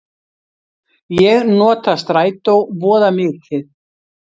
Ég nota strætó voða mikið.